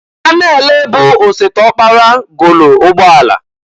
Anene bụ osebe ọkpara golu ụgbọ ala.